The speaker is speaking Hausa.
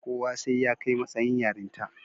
Kuwa sai ya kai matsayin yarinta.